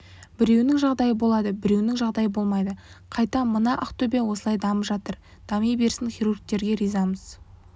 біреуінің жағдайы болады біреуінің жағдайы болмайды қайта мына ақтөбе осылай дамып жатыр дами берсін хирургтерге ризамыз